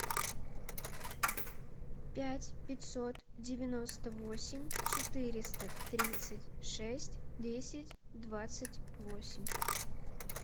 пять пятьсот девяносто восемь четыреста тридцать шесть десять двадцать восемь